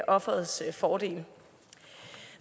offerets fordel